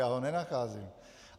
Já ho nenacházím.